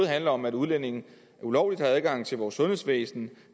handler om at udlændinge ulovligt har adgang til vores sundhedsvæsen